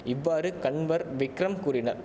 இவ்வாறு கன்வர் விக்ரம் கூறினர்